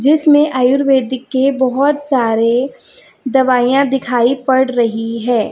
जिसमें आयुर्वेदिक के बहुत सारे दवाइयां दिखाई पड़ रही है।